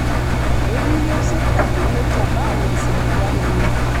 Ekiiyieu sirkali naitabau nkisiligat enye